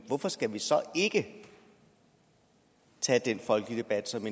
hvorfor skal vi så ikke tage den folkelige debat som